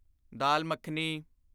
Dal makhani